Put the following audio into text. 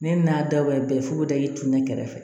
Ne n'a dabɔra bɛɛ fu bɛ da i tun ne kɛrɛfɛ